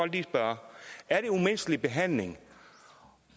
lige spørge er det umenneskelig behandling